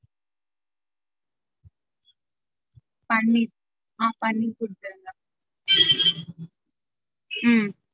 பன்னீர் ஆஹ் பன்னீர் குடுத்துருங்க உம்